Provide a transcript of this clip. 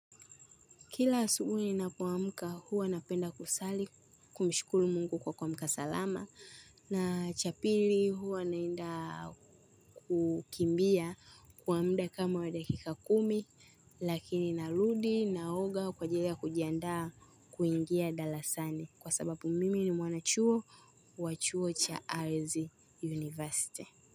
Kila asubuhi napo amka huwa napenda kusali kumshukuru mungu kwa kuamka salama na cha pili huwa naenda kukimbia kwa mda kama wa dakika kumi lakini narudi naoga kwa ajilia ya kujiandaa kuingia dalasani kwa sababu mimi ni mwanachuo wa chuo cha RZ University.